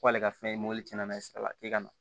K'ale ka fɛn ye mobili cɛn na sira la k'e ka na